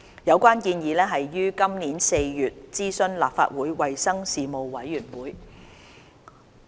有關建議已於今年4月諮詢立法會衞生事務委員會。